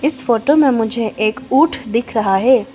इस फोटो में मुझे एक ऊंट दिख रहा है।